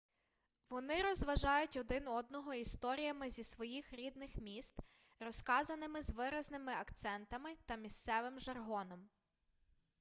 вони розважають один одного історіями зі своїх рідних міст розказаними з виразними акцентами та місцевим жаргоном